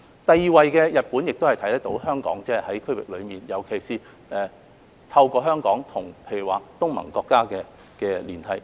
第二位是日本，反映香港在區域內所發揮的連繫作用，尤其是透過香港與例如東盟國家的連繫。